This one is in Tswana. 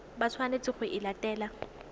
ba tshwanetseng go e latela